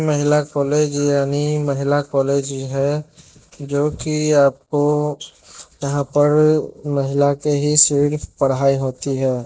महिला कॉलेज यानी महिला कॉलेज ही है। जो कि आपको यहां पर महिला की ही सिर्फ पढ़ाई होती है।